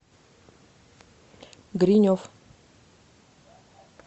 гринев